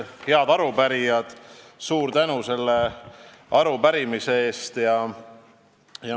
Head arupärijad, suur tänu selle arupärimise eest!